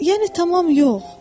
Yəni tamam yox.